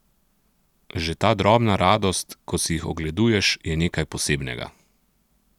Že ta drobna radost, ko si jih ogleduješ, je nekaj posebnega!